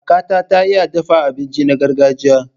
Kakata ta iya dafa abinci na gargajiya.